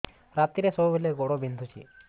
ରାତିରେ ସବୁବେଳେ ଗୋଡ ବିନ୍ଧୁଛି